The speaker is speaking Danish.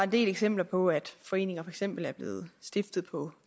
del eksempler på at foreninger for eksempel er blevet stiftet på